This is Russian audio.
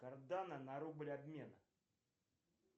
карданы на рубль обмена